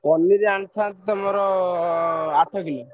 ପନିରୀ ଆଣିଥାନ୍ତ ଆମର ଆଠ କିଲ।